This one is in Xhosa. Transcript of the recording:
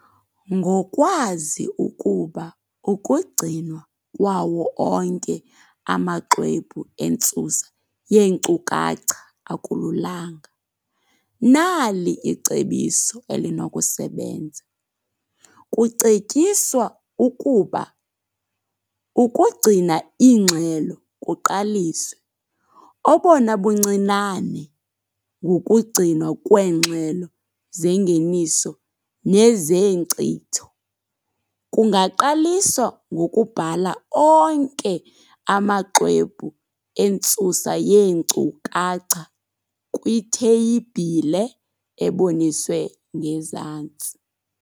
Ngokwazi ukuba ukugcinwa kwawo onke amaxwebhu entsusa yeenkcukacha akululanga - nali icebiso elinokusebenza. Kucetyiswa ukuba ukugcina iingxelo kuqaliswe, obona buncinane, ngokugcinwa kweengxelo zengeniso nezeenkcitho. Kungaqaliswa ngokubhala onke amaxwebhu entsusa yeenkukacha kwitheyibhile eboniswe ngezantsi.